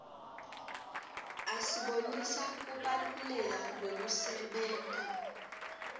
asibonisa kubalaleka kwekusebenta